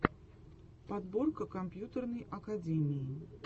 подборка компьютерной академии